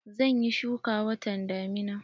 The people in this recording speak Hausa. Zan yi shuki watan damina.